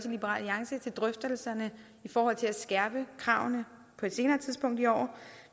liberal alliance til drøftelserne i forhold til at skærpe kravene på et senere tidspunkt i år